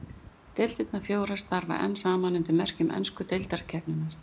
Deildirnar fjórar starfa enn saman undir merkjum ensku deildarkeppninnar.